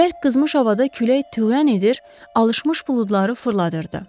Bərk qızmış havada külək tüğyan edir, alışmış buludları fırladırdı.